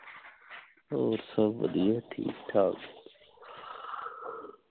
ਹੋਰ ਸਬ ਵਧੀਆ ਠੀਕ ਠਾਕ